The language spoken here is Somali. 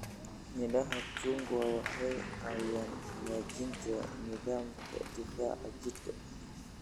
Midhaha chungwa waxay caawiyaan hagaajinta nidaamka difaaca jidhka.